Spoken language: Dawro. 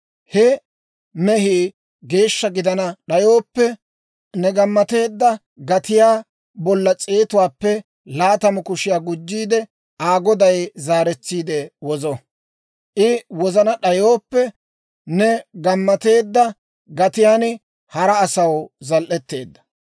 He mehii geeshsha gidana d'ayooppe, ne gammateedda gatiyaa bolla s'eetuwaappe laatamu kushiyaa gujjiide Aa goday zaaretsiide wozo. I wozana d'ayooppe, ne gammateedda gatiyaan hara asaw zal"eteedda.